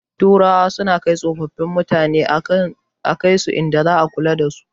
Turawa suna kai tsofin mutane a kaisu inda za ana kula dasu